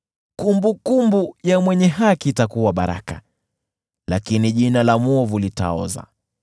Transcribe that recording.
Kumbukumbu ya mwenye haki itakuwa baraka, lakini jina la mwovu litaoza.